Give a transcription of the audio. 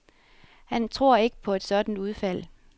Han tror ikke på et sådant udfald.